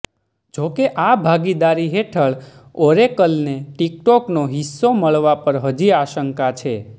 જોકે આ ભાગીદારી હેઠળ ઓરેકલને ટિકટોકનો હિસ્સો મળવા પર હજી આશંકા છે